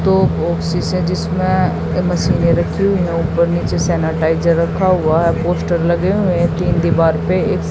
दो बॉक्सेस हैं जिसमें ये मशीनें रखी हुई है ऊपर नीचे सैनिटाइजर रखा हुआ है पोस्टर लगे हुए है तीन दीवार पे एक--